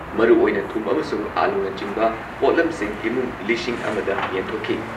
ꯃꯔꯨꯑꯣꯏꯅ ꯊꯨꯝ ꯑꯃꯁꯨꯡ ꯑꯥꯂꯨꯅꯆꯤꯡꯕ ꯄꯣꯠꯂꯝꯁꯤꯡ ꯏꯃꯨꯡ ꯂꯤꯁꯤꯡ ꯑꯃꯗ ꯌꯦꯟꯊꯣꯛꯈꯤ ꯫